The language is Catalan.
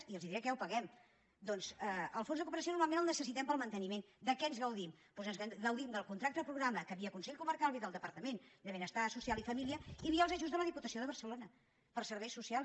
i els diré amb què ho paguen doncs el fons de cooperació normalment el necessitem per al manteniment de què ens gaudim doncs ens gaudim del contracte programa que via el consell comarcal ve del departament de benestar social i família i via els ajuts de la diputació de barcelona per a serveis socials